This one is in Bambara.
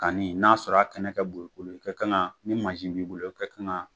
Kanni, n'a sɔrɔ a kɛnɛ ka bon, i ka kan ka, ni mansin b'i bolo, i ka kan